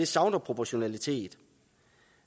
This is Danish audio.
savner proportionalitet